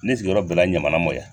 Ne sigiyɔrɔ bɛnna ɲamana mɔ ya.